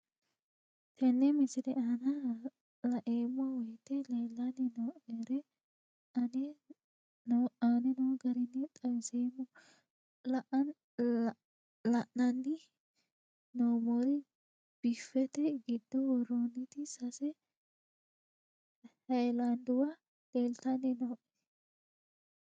Tenne misile aana laeemmo woyte leelanni noo'ere aane noo garinni xawiseemmo. La'anni noomorri biffette giddo woroonitti sase haayiladuwa leeltinanni nooe.